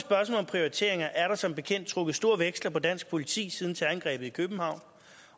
prioriteringer er der som bekendt trukket store veksler på dansk politi siden terrorangrebet i københavn